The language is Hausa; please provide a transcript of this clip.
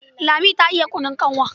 Lami ta iya kunun kanwa.